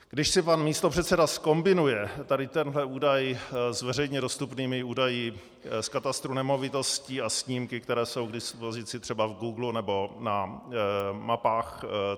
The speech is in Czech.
Když si pan místopředseda zkombinuje tady tenhle údaj s veřejně dostupnými údaji z katastru nemovitostí a snímky, které jsou k dispozici třeba v Googlu nebo na mapy.cz